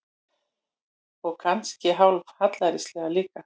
Og kannski hálf hallærislegt líka.